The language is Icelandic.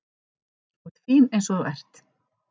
Þú ert fín eins og þú ert.